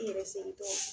N yɛrɛ sentɔ